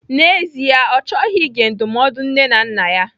N'ezie, Ọ chọghị ige ndụmọdụ nne na nna ya.